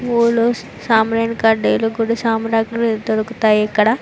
పూలు సాంబ్రాణి కడ్డీలు గుడి సామాన్లు దొరుకుతాయి ఇక్కడ.